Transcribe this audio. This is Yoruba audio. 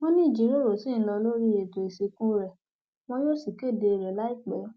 wọn ní ìjíròrò ṣì ń lọ lórí ètò ìsìnkú rẹ wọn yóò sì kéde rẹ láìpẹ